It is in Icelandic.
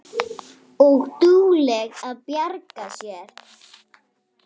Og dugleg að bjarga sér.